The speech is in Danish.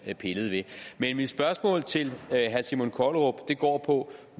vi pillede ved men mit spørgsmål til herre simon kollerup går på